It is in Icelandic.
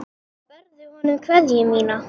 Berðu honum kveðju mína.